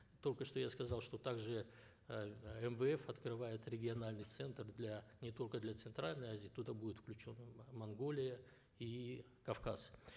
только что я сказал что также эээ мвф открывает региональный центр для не только для центральной азии туда будет включена монголия и кавказ